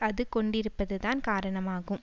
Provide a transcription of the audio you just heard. அது கொண்டிருப்பதுதான் காரணமாகும்